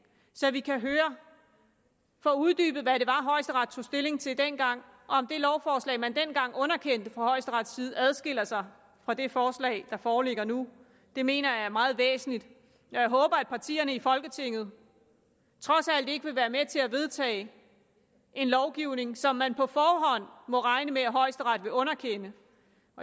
så vi kan få uddybet hvad det højesteret tog stilling til dengang og om det lovforslag man dengang underkendte fra højesterets side adskiller sig fra det forslag der foreligger nu det mener jeg er meget væsentligt at jeg håber at partierne i folketinget trods alt ikke vil være med til at vedtage en lovgivning som man på forhånd må regne med at højesteret vil underkende